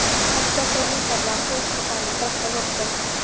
Oftar þó einfaldlega á Pólska barinn til að drekka vodka.